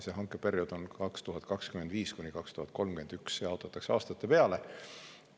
Hankeperiood on 2025–2031, see jaotatakse aastate peale.